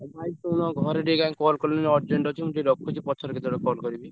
ଆଉ ଭାଇ ଶୁଣ ଘରେ ଟିକେ କାଇଁ call କଲେଣି urgent ଅଛି। ମୁଁ ଟିକେ ରଖୁଛି ପଛରେ କେତବେଳେ call କରିବି।